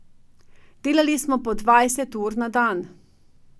Delali smo po dvajset ur na dan.